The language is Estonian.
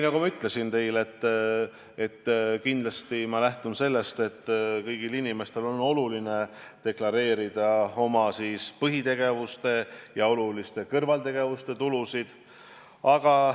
Nagu ma teile ütlesin, ma kindlasti lähtun sellest, et kõigil inimestel on oluline deklareerida oma põhitegevuse ja oluliste kõrvaltegevuste tulusid.